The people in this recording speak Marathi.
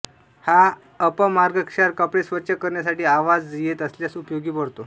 हा अपामार्गक्षार कपडे स्वच्छ करण्यासाठी आवाज येत असल्यास उपयोगी पडतो